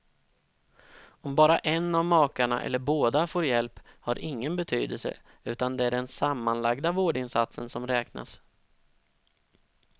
Om bara en av makarna eller båda får hjälp, har ingen betydelse, utan det är den sammanlagda vårdinsatsen som räknas.